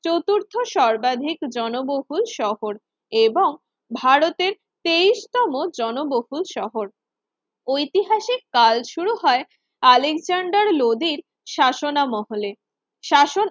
চতুর্থ সর্বাধিক জনবহুল শহর এবং ভারতের তেইশ তম জনবহুল শহর ঐতিহাসিক কাল শুরু হয় আলেকজান্ডার লোডির শাসনামহলে শাসন